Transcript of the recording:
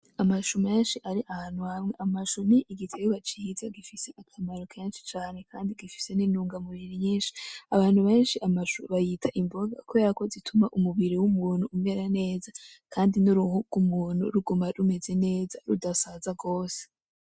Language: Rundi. Amashu menshi ari ahantu hamwe amashu nigihingwa ciza gifise akamaro kenshi cane kandi gifise nintungamubiri nyinshi abantu benshi amashu bayita imboga kuberako zituma umubiri wumuntu umera neza kandi nuruhu rwumuntu ruguma rumeze neza rudasaza rwose.